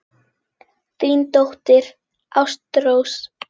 Þín dóttir, Ástrós.